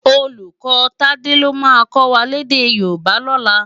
Ólúkò Tade ló má kò wá lèdè Yoruba lòlá